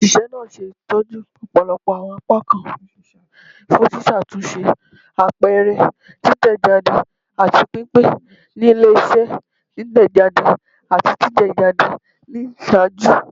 Oṣiṣẹ naa ṣe itọju ọpọlọpọ awọn apakan fun ṣiṣatunṣe, apẹrẹ, titẹjade, ati pinpin ni ile-iṣẹ titẹjade ati titẹjade ni iṣaaju.